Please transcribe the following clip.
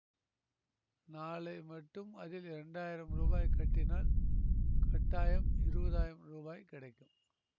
நாளை மட்டும் அதில் இரண்டாயிரம் ரூபாய் கட்டினால் கட்டாயம் இருபதாயிரம் ரூபாய் கிடைக்கும்